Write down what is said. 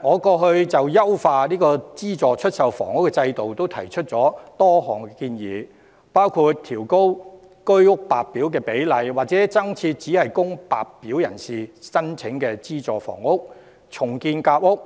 我過去曾就優化資助出售房屋制度提出多項建議，包括調高居屋白表比例或增設只供白表人士申請的資助房屋、重建夾屋，